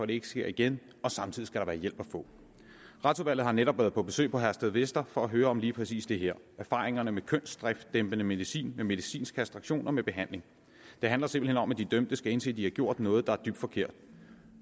det ikke sker igen og samtidig skal være hjælp at få retsudvalget har netop været på besøg på herstedvester for at høre om lige præcis det her altså erfaringerne med kønsdriftsdæmpende medicin med medicinsk kastration og med behandling det handler simpelt hen om at de dømte skal indse at de har gjort noget der er dybt forkert